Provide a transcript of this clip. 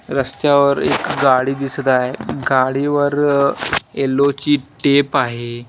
रस्त्यावर एक गाडी दिसत आहे गाडीवर येल्लो ची टेप आहे.